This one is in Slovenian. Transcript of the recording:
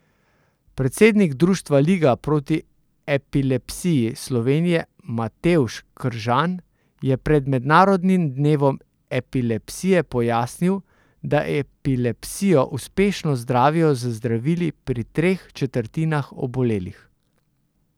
Predsednik društva Liga proti epilepsiji Slovenije Matevž Kržan je pred mednarodnim dnevom epilepsije pojasnil, da epilepsijo uspešno zdravijo z zdravili pri treh četrtinah obolelih.